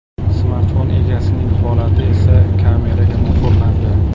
Smartfon egasining holati esa kameraga muhrlandi .